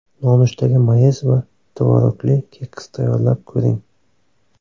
Nonushtaga mayiz va tvorogli keks tayyorlab ko‘ring.